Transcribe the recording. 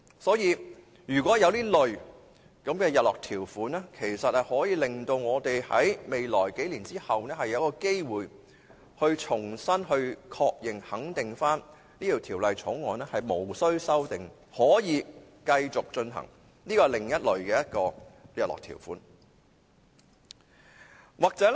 所以，如果有這類日落條款，我們便可在數年後有機會重新確認和肯定《條例草案》無須修訂及可以繼續實行，這是其中一類的日落條款。